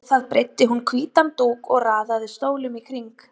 Á það breiddi hún hvítan dúk og raðaði stólum í kring.